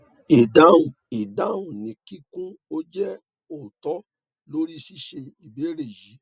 idahun idahun ni kikun o je otọ lori ṣiṣe ibeere yii